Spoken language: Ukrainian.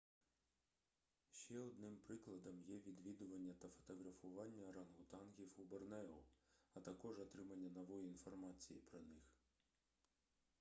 ще одним прикладом є відвідування та фотографування орангутангів у борнео а також отримання нової інформації про них